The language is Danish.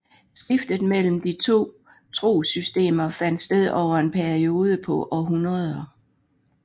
Skiftet mellem de to trossystemer fandt sted over en periode på århundreder